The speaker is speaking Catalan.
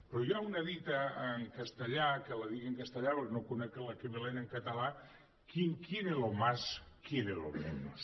però hi ha una dita en castellà que la dic en castellà perquè no conec l’equivalent en català quien quiere lo más quiere lo menos